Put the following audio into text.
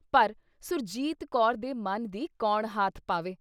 ਪਰ ਸੁਰਜੀਤ ਕੌਰ ਦੇ ਮਨ ਦੀ ਕੌਣ ਹਾਥ ਪਾਵੇ?